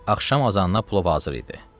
Axşam azanına plov hazır idi.